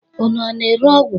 Unu a na-ere ọgwụ?